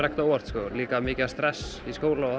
ekkert á óvart líka mikið stress í skóla og